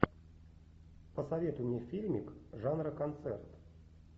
посоветуй мне фильмик жанра концерт